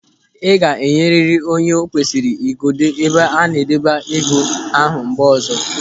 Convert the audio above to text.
Ị ga-enyeriri onye o kwesịrị igodo ebe a na-adọba ego ahụ mgbe ọzọ.